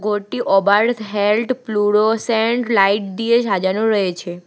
ঘরটি ওবার্থ হেল্ড প্লুরো সেন্ট লাইট দিয়ে সাজানো রয়েছে।